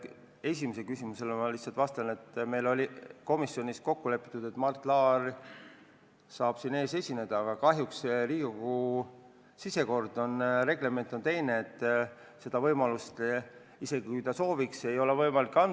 Esimese märkuse peale ma lihtsalt ütlen, et meil oli komisjonis kokku lepitud, et Mart Laar saab siin täna esineda, aga kahjuks Riigikogu reglement on teine: seda võimalust, isegi kui ta sooviks, ei ole võimalik anda.